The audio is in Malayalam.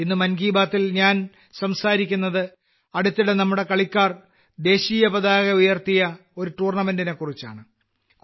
ഇന്ന് മൻ കി ബാത്തിൽ ഞാൻ സംസാരിക്കുന്നത് അടുത്തിടെ നമ്മുടെ കളിക്കാർ ദേശീയപതാക ഉയർത്തിയ ഒരു ടൂർണമെന്റെിനെക്കുറിച്ചാണ്